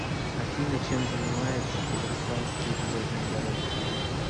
афина чем занимается казахстанские железные дороги